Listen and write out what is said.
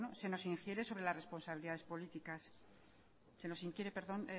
se nos inquiere